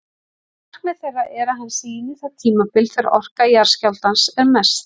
Markmið þeirra er að hann sýni það tímabil þegar orka jarðskjálftans er mest.